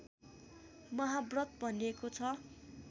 महाव्रत भनिएको छ